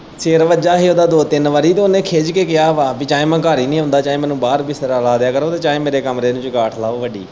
ਸਿਰ ਵੱਜਾ ਹੀ ਉਦਾ ਦੋ-ਤਿੰਨ ਵਾਰੀ ਤੇ ਉਨੇ ਖਿੱਜ ਕੇ ਕਿਆ ਵਾ ਪੀ ਚਾਹੇ ਮੈਂ ਘਰ ਹੀ ਨਈ ਆਂਦਾ ਚਾਹੇ ਮੈਨੂੰ ਬਾਰ ਬਿਸਤਰਾ ਲਾ ਦੇ ਕਰੋ ਚਾਹੇ ਮੇਰੇ ਕਮਰੇ ਨੂੰ ਚੰਗਾਂਠ ਲਾਓ ਵੱਡੀ।